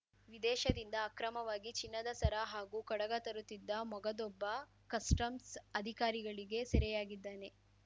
ವಿದೇಶದಿಂದ ಅಕ್ರಮವಾಗಿ ಚಿನ್ನದ ಸರ ಹಾಗೂ ಕಡಗ ತರುತ್ತಿದ್ದ ಮೊಗದೊಬ್ಬ ಕಸ್ಟಮ್ಸ್‌ ಅಧಿಕಾರಿಗಳಿಗೆ ಸೆರೆಯಾಗಿದ್ದಾನೆ